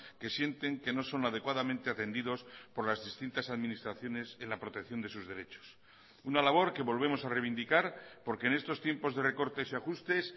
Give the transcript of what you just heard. que sienten que no son adecuadamente atendidos por las distintas administraciones en la protección de sus derechos una labor que volvemos a reivindicar porque en estos tiempos de recortes y ajustes